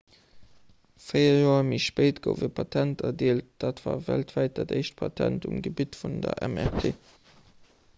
véier joer méi spéit gouf e patent erdeelt dat war weltwäit dat éischt patent um gebitt vun der mrt